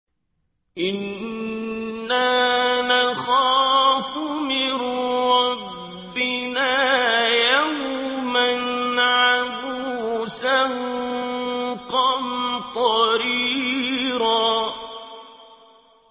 إِنَّا نَخَافُ مِن رَّبِّنَا يَوْمًا عَبُوسًا قَمْطَرِيرًا